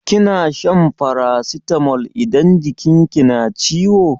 Kina shan farasitamol idan jikin ki na ciwo?